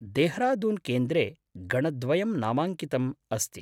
देहरादून्केन्द्रे गणद्वयं नामाङ्कितम् अस्ति।